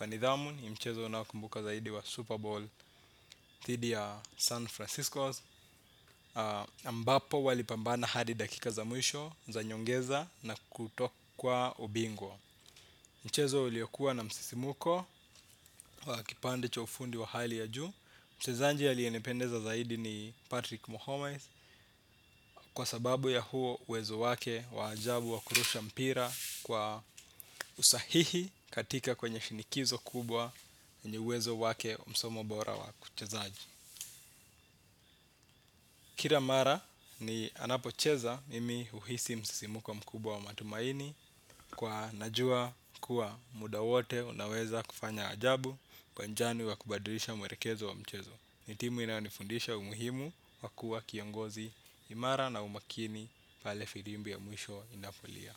wa nidhamu ni mchezo unaokumbuka zaidi wa Super Bowl dhidi ya San Francisco Ambapo walipambana hadi dakika za mwisho za nyongeza na kutokwa ubingwa. Mchezo uliyokuwa na msisimko wa kipande cha ufundi wa hali ya juu mchezaji aliyenipendeza zaidi ni Patrick Mohammes. Kwa sababu ya huo uwezo wake wa ajabu wa kurusha mpira kwa usahihi katika kwenye shinikizo kubwa yenye uwezo wake wa msomo bora wa kuchezaji kira mara ni anapocheza mimi huhisi msisimko mkubwa wa matumaini kwa najua kuwa muda wote unaweza kufanya ajabu kwa njani wa kubadrisha mwerekezo wa mchezo. Ni timu inayonifundisha umuhimu wa kuwa kiangozi imara na umakini pale firimbi ya mwisho inapolia.